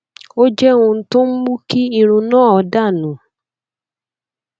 ó jẹ ohun tó ń mú kí irun náà dà nù